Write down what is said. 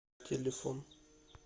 телефон